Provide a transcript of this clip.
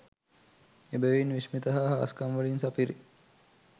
එබැවින් විශ්මිත හා හාස්කම් වලින් සපිරි